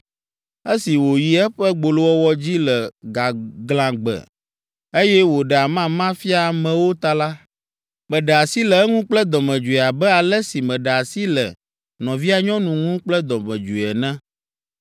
Esi wòyi eƒe gbolowɔwɔ dzi le gaglãgbe, eye wòɖe amama fia amewo ta la, meɖe asi le eŋu kple dɔmedzoe abe ale si meɖe asi le nɔvia nyɔnu ŋu kple dɔmedzoe ene.